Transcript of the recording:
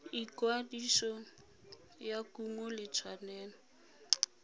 ikwadiso ya kumo di tshwanetse